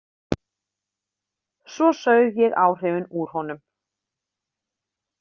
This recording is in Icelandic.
Svo saug ég áhrifin úr honum.